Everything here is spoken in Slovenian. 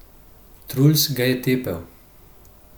Truls ga je tepel.